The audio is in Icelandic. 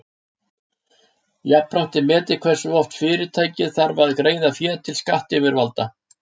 jafnframt er metið hversu oft fyrirtækið þarf að greiða fé til skattayfirvalda